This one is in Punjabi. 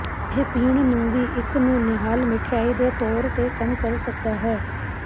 ਇਹ ਪੀਣ ਨੂੰ ਵੀ ਇੱਕ ਨੂੰ ਨਿਹਾਲ ਮਿਠਆਈ ਦੇ ਤੌਰ ਤੇ ਕੰਮ ਕਰ ਸਕਦਾ ਹੈ